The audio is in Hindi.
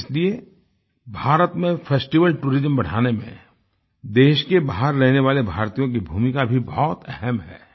इसलिए भारत में फेस्टिवल टूरिज्म बढ़ाने में देश के बाहर रहने वाले भारतीयों की भूमिका भी बहुत अहम है